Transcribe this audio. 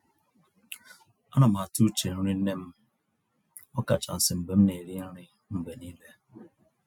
Á ná m àtụ́ úche nrí nnè m, ọ̀kàchàsị́ mgbe m ná-èrí nrí mgbe nííle.